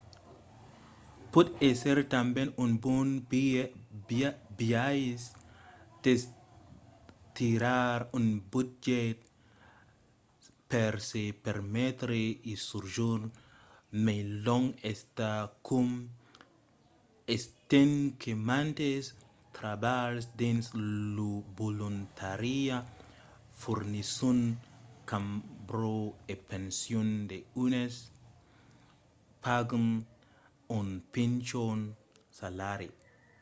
pòt èsser tanben un bon biais d'estirar un budget per se permetre un sojorn mai long endacòm estent que mantes trabalhs dins lo volontariat fornisson cambra e pension e d'unes pagan un pichon salari